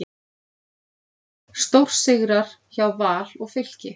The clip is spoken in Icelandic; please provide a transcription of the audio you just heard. Stórsigrar hjá Val og Fylki